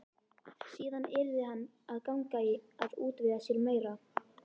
Síðan yrði hann að ganga í að útvega sér meira.